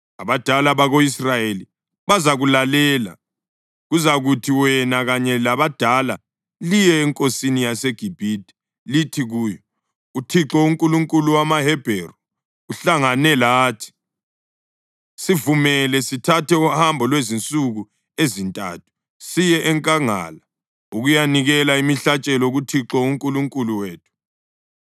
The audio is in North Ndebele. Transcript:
Abadala bako-Israyeli bazakulalela. Kuzakuthi wena kanye labadala liye enkosini yaseGibhithe lithi kuyo, ‘ uThixo, uNkulunkulu wamaHebheru uhlangane lathi. Sivumele sithathe uhambo lwezinsuku ezintathu siye enkangala ukuyanikela imihlatshelo kuThixo uNkulunkulu wethu.’